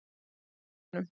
Hún lá í snjónum.